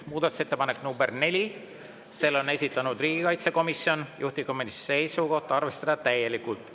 Muudatusettepanek nr 4: selle on esitanud riigikaitsekomisjon, juhtivkomisjoni seisukoht on arvestada seda täielikult.